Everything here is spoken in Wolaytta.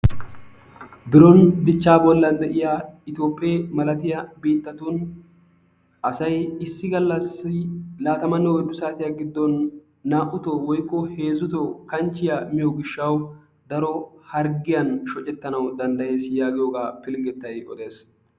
Biron dichaa bolan diya itoophee malattiya biitattun asay issi galassi kaatammanne oyddu saatiya giddon naa'utoo woykko heezzutoo miyo gishawu daro hargiyan shoccetanawu danddayees yaagiyoogaa pilgettay oddees.